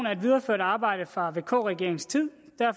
er et videreført arbejde fra vk regeringens tid